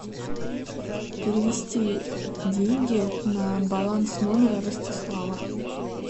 перевести деньги на баланс номера ростислава